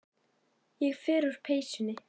Ég fer úr peysunni.